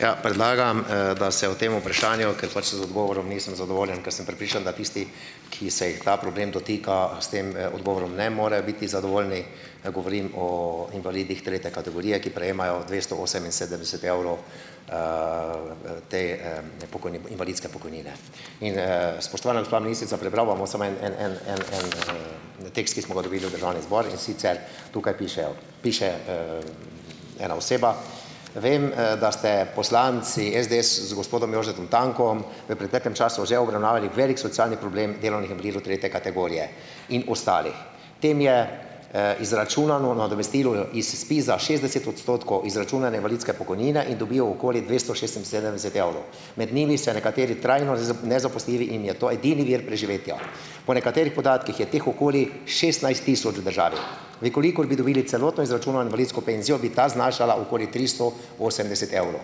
Ja, predlagam, da se o tem vprašanju, ker pač z odgovorom nisem zadovoljen, ker sem prepričan, da tisti, ki se jih ta problem dotika, s tem, odgovorom ne morejo biti zadovoljni. Govorim o invalidih tretje kategorije, ki prejemajo dvesto oseminsedemdeset evrov, te, invalidske pokojnine. In, ... Spoštovana gospa ministrica, prebral vam bom samo en, en, en, en, en, en tekst, ki smo ga dobili v državni zbor, in sicer tukaj pišejo, piše, ena oseba: "Vem, da ste poslanci SDS z gospodom Jožetom Tankom v preteklem času že obravnavali velik socialni problem delovnih invalidov tretje kategorije in ostalih. Tem je, izračunano nadomestilo iz SPIZ-a šestdeset odstotkov izračunane invalidske pokojnine in dobijo okoli dvesto šestinsedemdeset evrov. Med njimi se nekateri trajno nezaposljivi in je to ednini vir preživetja. Po nekaterih podatkih je teh okoli šestnajst tisoč v državi. V kolikor bi dobili celotno izračunano invalidsko penzijo, bi ta zanašala okoli tristo osemdeset evrov.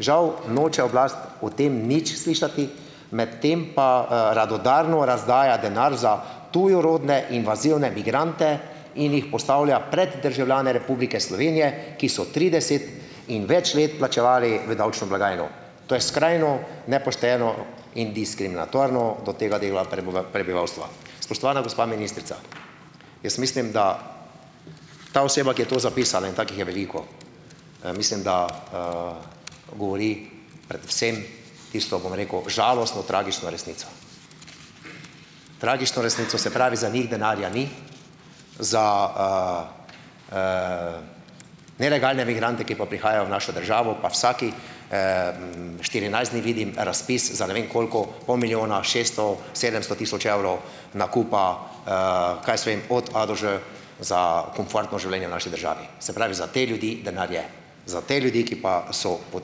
Žal noče oblast o tem nič slišati, medtem pa, radodarno razdaja denar za tujerodne invazivne migrante in jih postavlja pred državljane Republike Slovenije, ki so trideset in več let plačevali v davčno blagajno. To je skrajno nepošteno in diskriminatorno do tega dela prebivalstva." Spoštovana gospa ministrica! Jaz mislim, da ta oseba, ki je to zapisala, in takih je veliko, mislim, da, govori predvsem tisto, bom rekel, žalostno, tragično resnico. Tragično resnico. Se pravi, za njih denarja ni, za, nelegalne migrante, ki pa prihajajo v našo državo, pa vsakih, štirinajst dni vidim razpis za ne vem koliko, pol milijona, šeststo, sedemsto tisoč evrov nakupa, kaj jaz vem, od a do ž, za komfortno življenje v naši državi. Se pravi, za te ljudi denar je. Za te ljudi, ki pa so po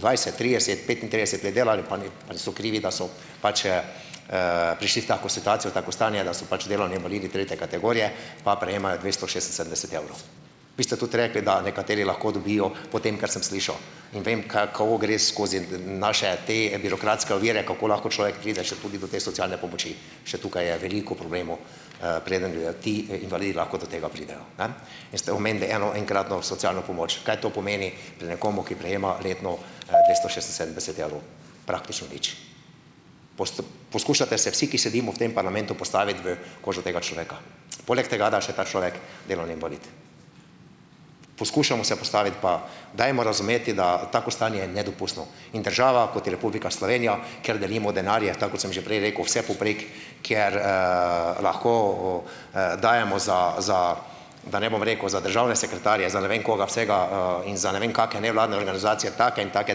dvajset, trideset, petintrideset let delali, pa ni, pa niso krivi, da so pač, prišli v tako situacijo, tako stanje, da so pač delovni invalidi tretje kategorije, pa prejemajo dvesto šestinsedemdeset evrov. Vi ste tudi rekli, da nekateri lahko dobijo, po tem, kar sem slišal, in vem, kaj ko gre skozi, naše te birokratske ovire, kako lahko človek pride še tudi do te socialne pomoči. Še tukaj je veliko problemov, preden grejo ti, invalidi lahko do tega pridejo, ne. In ste omenili eno enkratno socialno pomoč. Kaj to pomeni pri nekom, ki prejema letno, dvesto šestinsedemdeset evrov? Praktično nič. Posep. Poskušate se vsi, ki sedimo v tem parlamentu, postaviti v kožo tega človeka. Poleg tega, da je še ta človek delovni invalid. Poskušamo se postaviti pa dajmo razumeti, da je tako stanje nedopustno in država, kot je Republika Slovenija, kjer delimo denarje, tako kot sem že prej rekel, vsepovprek, kjer, lahko, dajemo za, za, da ne bom rekel, za državne sekretarje, za ne vem koga vsega, in za ne vem kakšne nevladne organizacije take in take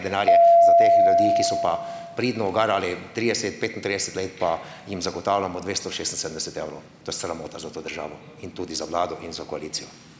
denarje. Za teh ljudi, ki so pa pridno garali trideset, petintrideset let, pa jim zagotavljamo dvesto šestinsedemdeset evrov. To je sramota za to državo in tudi za vlado in za koalicijo.